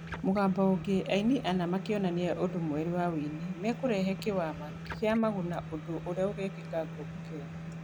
Mũgambo ũngĩ, aini ana makĩonania ũndũ mwerũ wa wĩini, mekũrehe kĩwama kĩa Maguna ũndũ urĩa ugekĩka Ngong'u Kenya.